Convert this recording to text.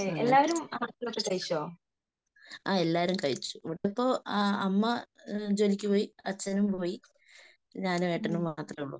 അങ്ങനെ. ആ എല്ലാരും കഴിച്ചു. ഇവിടിപ്പോ അമ്മ ജോലിക്കു പോയി. അച്ഛനും പോയി. ഞാനും ഏട്ടനും മാത്രമേ ഉള്ളു.